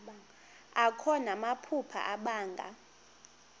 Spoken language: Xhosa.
akho namaphupha abanga